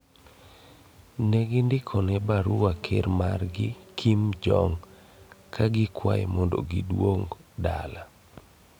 negi ndikone barua ker margi Kim Jong ka gikuaye mondo giduog dala